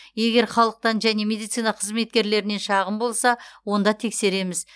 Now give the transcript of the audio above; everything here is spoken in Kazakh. егер халықтан және медицина қызметкерлерінен шағым болса онда тексереміз